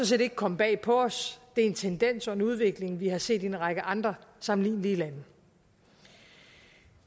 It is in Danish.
set ikke komme bag på os det er en tendens og en udvikling vi har set i en række andre sammenlignelige lande